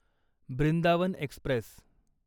Brindavan Express